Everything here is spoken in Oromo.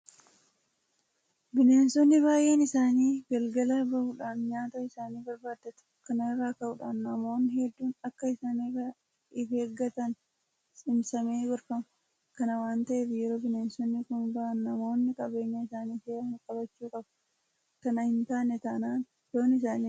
Bineensonni baay'een isaanii galgala bahuudhaan nyaata isaanii barbaaddatu. Kana irraa ka'uudhaan namoonni hedduun akka isaan irraa ifeeggatan cimsamee gorfama. Kana waanta ta'eef yeroo bineensonni kun bahan namoonni qabeenya isaanii seeraan qabachuu qabu. Kana hintaane taanaan loon isaanii nyaata jaraa ta'u jechuudha.